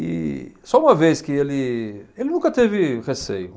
E só uma vez que ele, ele nunca teve receio.